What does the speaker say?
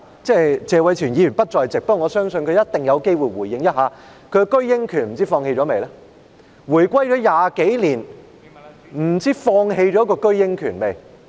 謝偉銓議員不在席，但我相信他一定有機會回應一下，不知道他是否已放棄自己的居英權？